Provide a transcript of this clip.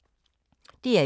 DR1